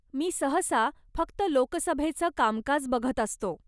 मी सहसा फक्त लोकसभेचं कामकाजं बघत असतो.